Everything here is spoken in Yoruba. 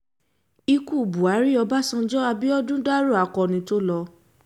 ikú buhari ọbaṣánjọ abiodun dárò akọni tó lò